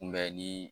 Kunbɛnni